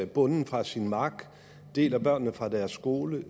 bonden fra sin mark deler børnene fra deres skole